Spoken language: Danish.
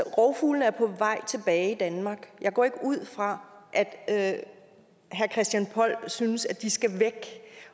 rovfuglene er på vej tilbage i danmark og jeg går ikke ud fra at herre christian poll synes at de skal væk